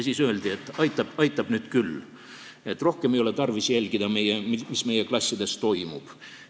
Siis öeldi, et aitab nüüd küll, rohkem ei ole tarvis jälgida, mis klassides toimub.